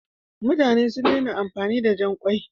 Mutane sun daina amfani da jan ƙwai.